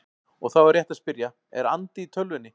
Og þá er rétt að spyrja: Er andi í tölvunni?